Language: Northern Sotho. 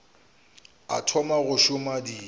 o thoma go šoma di